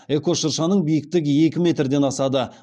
эко шыршаның биіктігі екі метрден асады